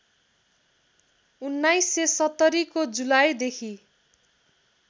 १९७० को जुलाईदेखि